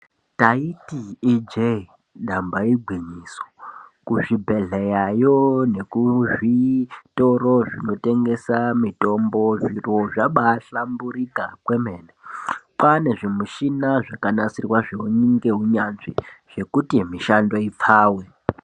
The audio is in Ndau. Ndaiiti I jee damba igwinyiso, kuzvibhehleya yo nezvitoro zvinotengesa mitombo zviro zvabahlamburika kwemene kwane zvimushina ngakanasirwa ngeiunyanzvi zvekuti mishando ipfave.